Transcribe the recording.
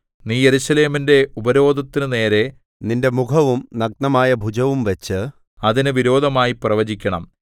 നീ യെരൂശലേമിന്റെ ഉപരോധത്തിനുനേരെ നിന്റെ മുഖവും നഗ്നമായ ഭുജവും വച്ച് അതിന് വിരോധമായി പ്രവചിക്കണം